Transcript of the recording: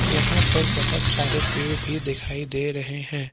यहां पर बहोत सारे पेड़ भी दिखाई दे रहे हैं।